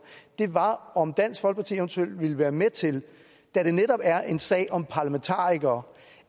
er om dansk folkeparti eventuelt ville være med til da det netop er en sag om parlamentarikere